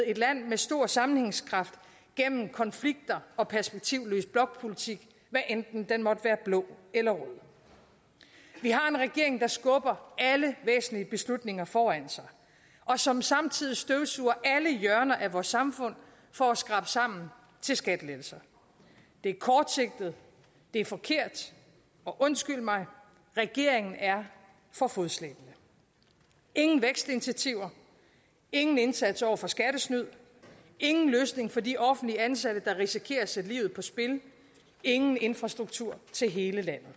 et land med stor sammenhængskraft gennem konflikter og perspektivløs blokpolitik hvad enten den måtte være blå eller rød vi har en regering der skubber alle væsentlige beslutninger foran sig og som samtidig støvsuger alle hjørner af vores samfund for at skrabe sammen til skattelettelser det er kortsigtet det er forkert og undskyld mig regeringen er for fodslæbende ingen vækstinitiativer ingen indsats over for skattesnyd ingen løsning for de offentligt ansatte der risikerer at sætte livet på spil ingen infrastruktur til hele landet